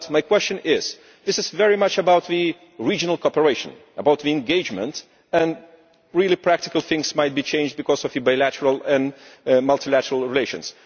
But my question is this is very much about regional cooperation, about engagement and really practical things that might be changed because of bilateral and multilateral relations.